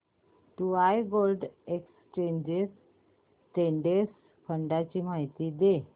UTI gold exchange traded fund ची माहिती दे